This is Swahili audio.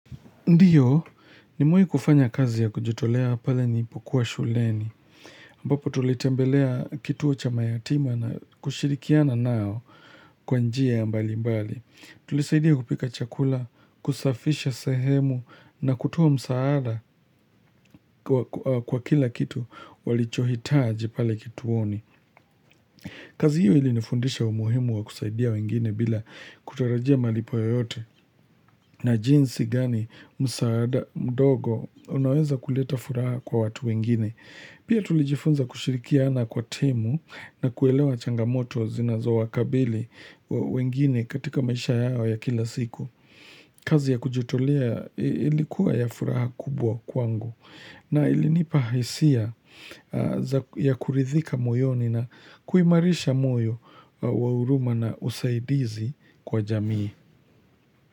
Ndiyo, nimewahi kufanya kazi ya kujitolea pale nilipokuwa shuleni. Ambapo tulitembelea kituo cha mayatima na kushirikiana nao kwa njia mbali mbali. Tulisaidia kupika chakula, kusafisha sehemu na kutoa msaada kwa kila kitu walichohitaji pale kituoni. Kazi hiyo ilinifundisha umuhimu wa kusaidia wengine bila kutarajia malipo yoyote. Na jinsi gani msaada mdogo unaweza kuleta furaha kwa watu wengine. Pia tulijifunza kushirikiana kwa timu na kuelewa changamoto zinazowakabili wengine katika maisha yao ya kila siku. Kazi ya kujitolea ilikuwa ya furaha kubwa kwangu na ilinipa hisia za ya kuridhika moyoni na kuimarisha moyo wa huruma na usaidizi kwa jamii.